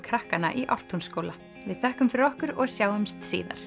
krakkanna í Ártúnsskóla við þökkum fyrir okkur og sjáumst síðar